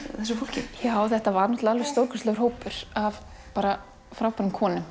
þessu fólki já þetta var náttúrulega alveg stórkostlegur hópur af bara frábærum konum